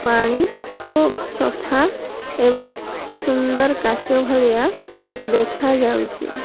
ପାଣି ଖୁବ୍ ସଫା ଏବଂ ସୁନ୍ଦର କାଚ ଭଳିଆ ଦେଖା ଯାଉଚି ।